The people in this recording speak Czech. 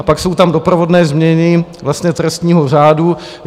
A pak jsou tam doprovodné změny trestního řádu.